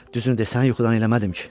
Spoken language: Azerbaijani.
Düzünü de, səni yuxudan eləmədim ki?